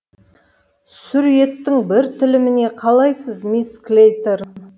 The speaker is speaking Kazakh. сүр еттің бір тіліміне қалайсыз мисс клейторн